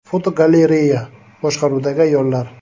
Fotogalereya: Boshqaruvdagi ayollar.